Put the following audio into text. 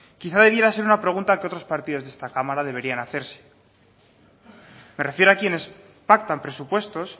quizás debiera ser una pregunta que otros partidos de esta cámara deberían hacerse me refiero a quienes pactan presupuestos